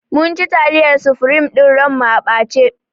Mun ci taliyar sufrim ɗin ran mu a ɓace